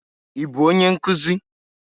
Ị bụ onye nkuzi?